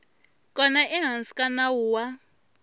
kona ehansi ka nawu wa